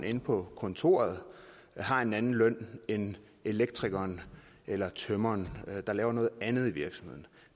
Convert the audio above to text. inde på kontoret har en anden løn end elektrikeren eller tømreren der laver noget andet i virksomheden